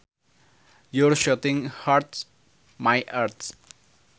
Your shouting hurts my ears